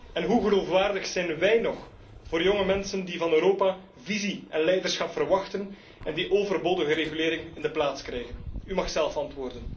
En hoe geloofwaardig zijn wij nog voor jonge mensen die van Europa visie en leiderschap verwachten en die overbodige regulering in de plaats krijgen? U mag zelf antwoorden.